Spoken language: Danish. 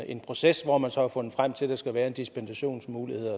en proces hvor man så har fundet frem til at der skal være en dispensationsmulighed